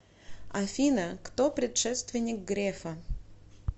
афина кто предшественник грефа